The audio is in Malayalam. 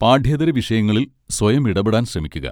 പാഠ്യേതര വിഷയങ്ങളിൽ സ്വയം ഇടപെടാൻ ശ്രമിക്കുക.